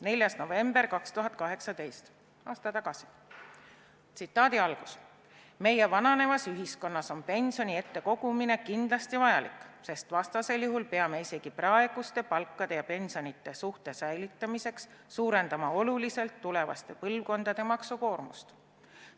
4. november 2018, aasta tagasi: "Meie vananevas ühiskonnas on pensioni ette kogumine kindlasti vajalik, sest vastasel juhul peame isegi praeguse palkade ja pensionite suhte säilitamiseks suurendama oluliselt tulevaste põlvkondade maksukoormust.